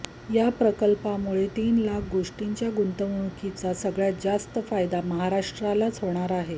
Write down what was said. या प्रकल्पामुळे तीन लाख कोटींच्या गुंतवणुकीचा सगळ्यात जास्त फायदा महाराष्ट्रालाच होणार आहे